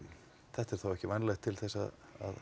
þetta er þá ekki vænlegt til þess að